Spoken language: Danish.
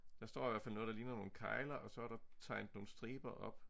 Der står i hvert fald noget der ligner nogle kegler og så der tegnet nogle striber op